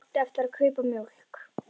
Ég átti eftir að kaupa mjólk.